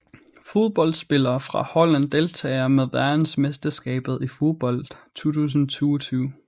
Fodboldspillere fra Holland Deltagere ved verdensmesterskabet i fodbold 2022